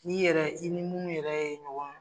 N' yɛrɛ, i ni munnu yɛrɛ ye ɲɔgɔn